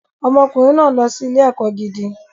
Ọmọkùnrin náà ń lọ sí ilé-ẹ̀kọ́ gidi.